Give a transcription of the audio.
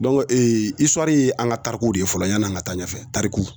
Dɔnku ee isuwari ye an ka tarikuw de ye fɔlɔ yan'an ka taa ɲɛfɛ tariku